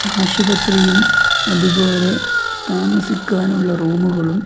ആശുപത്രിയും അതുപോലെ താമസിക്കുവാനുള്ള റൂമുകളും --